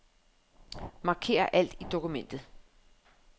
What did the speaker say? Marker alt i dokumentet.